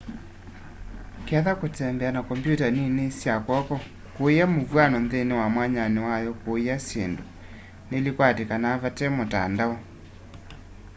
ketha kũtembea na kompyũta nĩnĩ sya kwoko kũĩya mũvywano nthĩnĩ wa mwanyanĩ wa yo wakũĩya syĩndũ nĩlĩkwatĩkana vate mũtandao